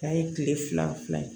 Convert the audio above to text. K'a ye tile fila ye